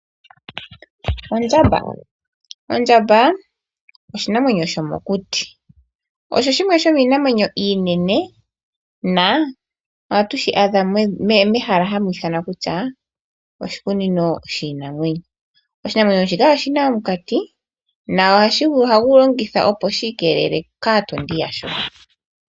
Ondjamba, oshinamwenyo shimwe shomokuti oshinene nohatu shi adha mehala lyiinamwenyo ano mEtosha. Oshinamwenyo shika oshi na omukati gwo kwiikelela kaatondi yasho.